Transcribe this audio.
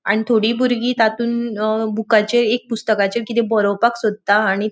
आणि थोड़ी बुरगी तातुन अ बूकाचे एक पुस्तकाचेर किते बोरोवपाक सोदता आणि --